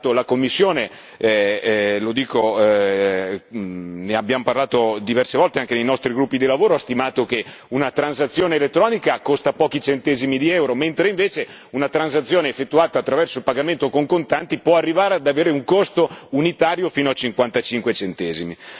La Commissione ne abbiamo parlato diverse volte anche nei nostri gruppi di lavoro ha stimato che una transazione elettronica costa pochi centesimi di euro, mentre invece una transazione effettuata attraverso il pagamento con contanti può arrivare ad avere un costo unitario fino a 55 centesimi.